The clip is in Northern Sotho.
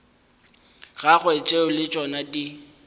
gagwe tšeo le tšona di